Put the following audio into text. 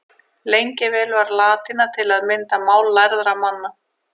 Lengi vel var latína til að mynda mál lærðra manna.